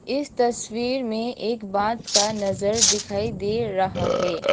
इस तस्वीर में एक बाद का नजर दिखाई दे रहा है।